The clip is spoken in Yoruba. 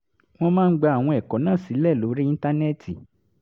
wọ́n máa ń gba àwọn ẹ̀kọ́ náà sílẹ̀ lórí íńtánẹ́ẹ̀tì